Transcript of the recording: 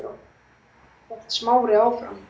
hélt Smári áfram.